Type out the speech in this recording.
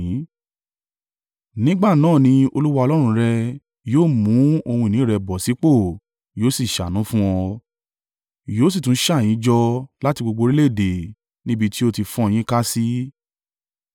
Nígbà náà ni Olúwa Ọlọ́run rẹ yóò mú ohun ìní rẹ bọ̀ sípò yóò sì ṣàánú fún ọ, yóò sì tún ṣà yín jọ láti gbogbo orílẹ̀-èdè níbi tí ó ti fọ́n yín ká sí.